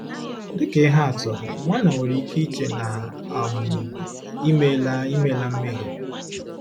Dị ka ihe atụ, nwanna nwere ike iche na um i meela i meela mmehie.